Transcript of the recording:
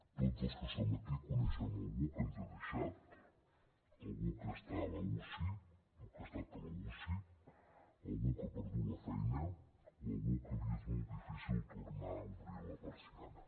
tots els que som aquí coneixem algú que ens ha deixat algú que està a la uci o que ha estat a la uci algú que ha perdut la feina o algú que li és molt difícil tornar a obrir la persiana